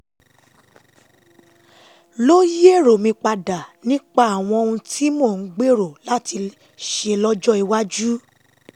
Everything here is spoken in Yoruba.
ló yí èrò mi padà nípa àwọn ohun tí mò ń gbèrò láti ṣe lọ́jọ́ iwájú